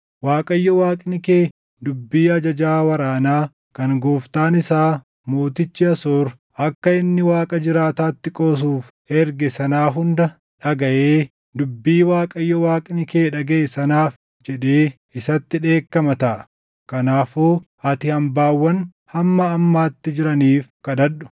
Waaqayyo Waaqni kee dubbii ajajaa waraanaa kan gooftaan isaa mootichi Asoor akka inni Waaqa jiraataatti qoosuuf erge sanaa hunda dhagaʼee dubbii Waaqayyo Waaqni kee dhagaʼe sanaaf jedhee isatti dheekkama taʼa. Kanaafuu ati hambaawwan hamma ammaatti jiraniif kadhadhu.”